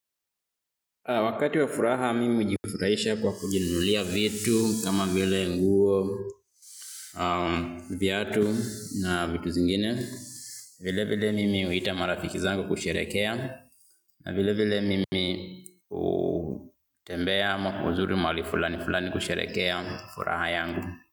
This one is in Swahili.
Wakati wa furaha mimi hujifurahisha kwa kujinunulia vitu kama vile nguo, viatu na vitu zingine. Vile vile mimi huita marafiki zangu kusherehekea. Na vile vile mimi hutembea ama kuzuru mahali fulani fulani kusherehekea furaha yangu.